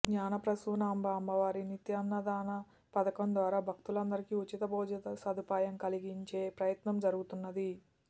శ్రీ జ్ఞానప్రసూనాంబ అమ్మవారి నిత్యాన్నదాన పధకం ద్వారా భక్తులందరికీ ఉచిత భోజన సదుపాయం కలిగించే ప్రయత్నం జరుగుతున్నది